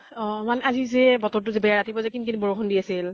অ । মানে আজি যে বতৰ তো যে বেয়া । ৰাতিপুৱা যে কিন কিন বৰষুণ দি আছিল